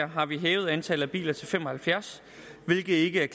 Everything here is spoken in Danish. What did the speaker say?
har vi hævet antallet af biler til fem og halvfjerds hvilket ikke er